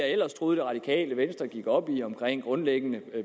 ellers troede det radikale venstre gik op i omkring grundlæggende